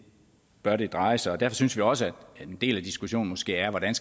bør dreje sig derfor synes vi også at en del af diskussionen måske er hvordan